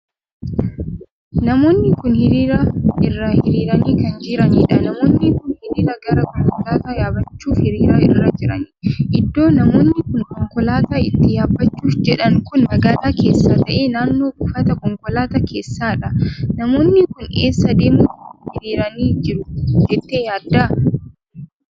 Namoonni kun hiriira irraa hiriiranii kan jiraaniidha. namoonni kun hiriira gara konkolaataa yaabbachuuf hiriira irra jiru. Iddoo namoonni kun konkolaataa itti yaabbachuuf jedhan kun magaalaa keessa tahee naannoo buufta konkolaataa keessaadha. Namoonni kun eessa deemuuf hiriiranii jiru jettee yaadda?